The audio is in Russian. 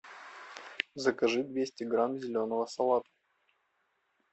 закажи двести грамм зеленого салата